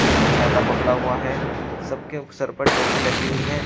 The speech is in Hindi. उन्होंने छाता पकड़ा हुआ है सबके सर पर टोपी लगी हुई है।